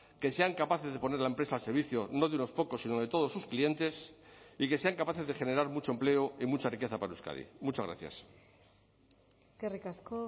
que sean capaces de poner la empresa al servicio no de unos pocos sino de todos sus clientes y que sean capaces de generar mucho empleo y mucha riqueza para euskadi muchas gracias eskerrik asko